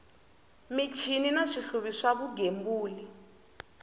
michini na swihluvi swa vugembuli